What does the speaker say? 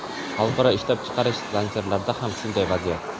Xalqaro ishlab chiqarish zanjirlarida ham shunday vaziyat.